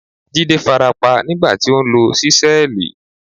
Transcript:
Jídé farapa nígbà tí ó ń lo ṣísẹ́ẹ̀lì.